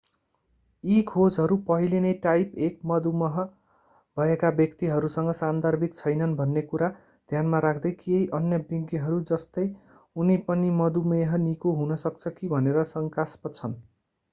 यी खोजहरू पहिले नै टाइप 1 मधुमेह भएका व्यक्तिहरूसँग सान्दर्भिक छैनन् भन्ने कुरा ध्यानमा राख्दै केही अन्य विज्ञहरू जस्तै उनी पनि मधुमेह निको हुन सक्छ कि भनेर शंकास्पद छन्